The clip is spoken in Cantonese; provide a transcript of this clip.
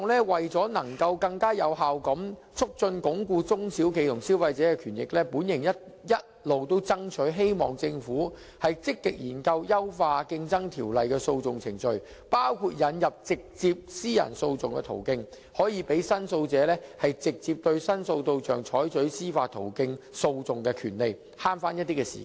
為更有效鞏固中小企及消費者的權益，我一直向政府爭取積極研究優化《競爭條例》的訴訟程序，包括引入直接私人訴訟的途徑，讓申訴者直接對申訴對象採取司法途徑訴訟的權利，以節省時間。